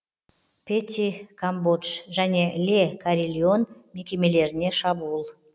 пети камбодж және ле карильон мекемелеріне шабуыл